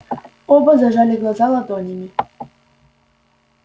оба зажали глаза ладонями